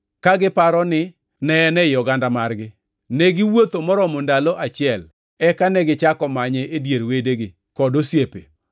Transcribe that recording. Ka giparo ni ne en ei oganda margi, negiwuotho moromo ndalo achiel eka negichako manye e dier wedegi kod osiepe.